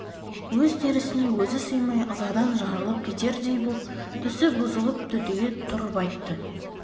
өз терісіне өзі сыймай ызадан жарылып кетердей боп түсі бұзылып түтіге тұрып айтты